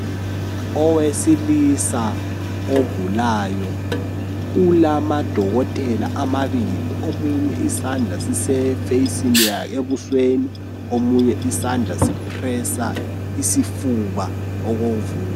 Owesilisa ogulayo ulamadokotela amabili. Omunye isandla sisebusweni omunye isandla so pressa isifuba okovuko.